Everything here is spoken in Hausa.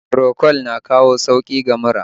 Procold na kawo sauki ga mura